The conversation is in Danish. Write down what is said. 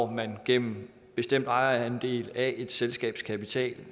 man gennem en bestemt ejerandel af et selskabs kapital